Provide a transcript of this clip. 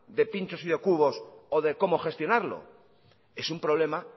de pinchos y de cubos o de cómo gestionarlo es un problema